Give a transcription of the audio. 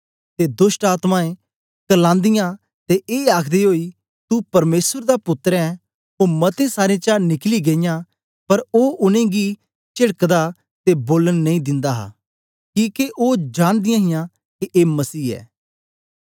ते दोष्टआत्मायें क्र्लांदी ते ए आखदे ओई तू परमेसर दा पुत्तर ऐं ओ मतें सारें चा निकली गेईयां पर ओ उनेंगी चेदकदा ते बोलन नेई दिंदा हा किके ओ जानदीयां हियां के ए मसीह ऐ